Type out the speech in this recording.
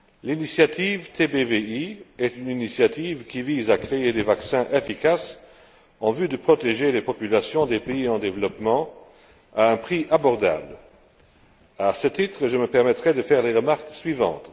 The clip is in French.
L'initiative TBVI est une initiative qui vise à créer des vaccins efficaces en vue de protéger les populations des pays en développement à un prix abordable. À ce titre, je me permettrai de faire les remarques suivantes.